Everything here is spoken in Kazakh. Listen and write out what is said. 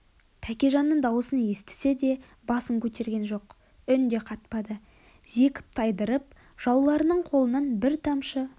тәкежанның даусын естісе де басып кегерген жоқ үн де қатпады зекіп тайдырып жауларының қолынан бір тамшы